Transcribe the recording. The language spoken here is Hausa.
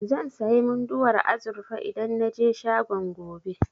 Zan sayi Munduwar azurfa idan na je shagon, gobe.